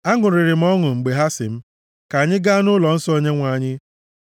Aṅụrịrị m ọṅụ mgbe ha sị m, “Ka anyị gaa nʼụlọnsọ Onyenwe anyị.” + 122:1 \+xt Aịz 2:3; Mai 4:2; Zek 8:21\+xt*